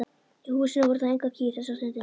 Í húsinu voru þó engar kýr þessa stundina.